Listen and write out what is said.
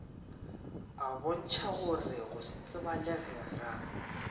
a bontšhagore go setsebalege ga